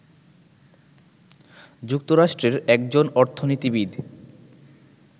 যুক্তরাষ্ট্রের একজন অর্থনীতিবিদ